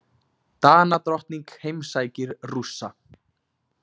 Danadrottning heimsækir Rússa